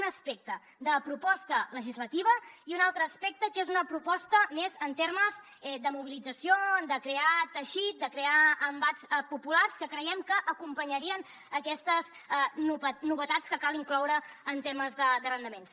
un aspecte de proposta legislativa i un altre aspecte que és una proposta més en termes de mobilització de crear teixit de crear embats populars que creiem que acompanyarien aquestes novetats que cal incloure en temes d’arrendaments